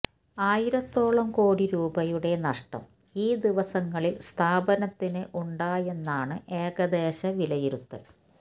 ആയിരത്തോളം കോടി രൂപയുടെ നഷ്ടം ഈ ദിവസങ്ങളില് സ്ഥാപനത്തിന് ഉണ്ടായെന്നാണ് ഏകദേശ വിലയിരുത്തല്